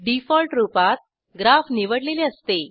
default रूपात graph निवडलेले असते